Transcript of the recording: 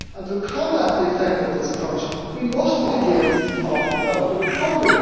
To combat the effect of this crunch, we must begin to talk about the recovery.